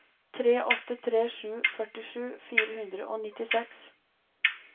tre åtte tre sju førtisju fire hundre og nittiseks